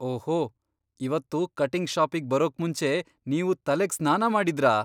ಓಹೋ! ಇವತ್ತು ಕಟಿಂಗ್ ಷಾಪಿಗ್ ಬರೋಕ್ಮುಂಚೆ ನೀವು ತಲೆಗ್ ಸ್ನಾನ ಮಾಡಿದ್ರಾ?